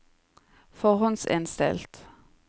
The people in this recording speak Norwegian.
forhåndsinnstilt